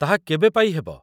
ତାହା କେବେ ପାଇ ହେବ ?